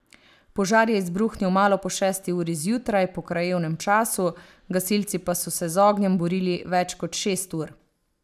Požar je izbruhnil malo po šesti uri zjutraj po krajevnem času, gasilci pa so se z ognjem borili več kot šest ur.